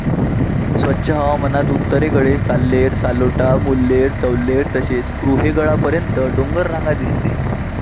स्वच्छ हवामानात उत्तरेकडे साल्हेर, सालोटा, मुल्हेर, चौल्हेर तसेच कृहेगडा्पर्यंत डोंगररांग दिसते.